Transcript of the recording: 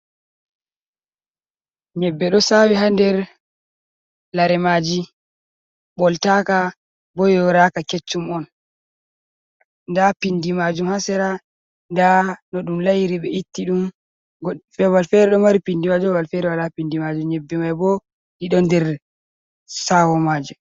Nyebbe ɗo sawi ha nder lare maji ɓoltaka bo yoraka keccum on nda pindi majum hasera nda no ɗum layiri ɓe itti ɗum babal fere ɗo mari pindi majum babal fere wala pindi majum nyebbe mai bo ɗi ɗon der sawo majum.